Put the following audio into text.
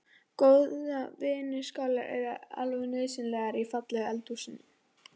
Góðar vinnuskálar eru alveg nauðsynlegar í fallegu eldhúsi.